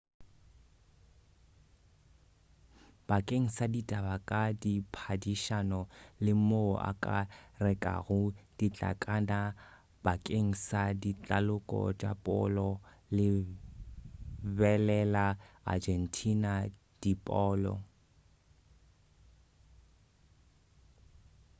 bakeng sa ditaba ka diphadišano le moo o ka rekago ditlankana bakeng sa ditaloko tša polo lebelela argentina de polo